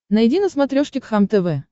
найди на смотрешке кхлм тв